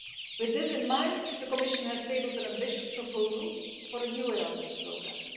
With this in mind, the Commission has tabled an ambitious proposal for a new Erasmus programme.